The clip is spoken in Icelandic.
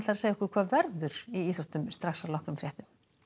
segja okkur hvað verður í íþróttum strax að loknum fréttum